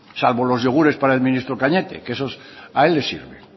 salvo los yogures para el ministro cañete que esos a él le sirven